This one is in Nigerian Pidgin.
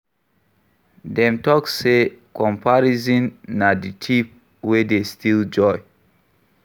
Dem talk sey comparison na di thief wey dey steal joy